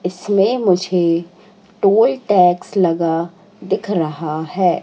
इसमें मुझे toll tax लगा दिख रहा है।